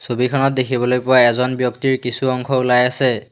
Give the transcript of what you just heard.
ছবিখনত দেখিবলৈ পোৱা এজন ব্যক্তিৰ কিছু অংশ ওলাই আছে।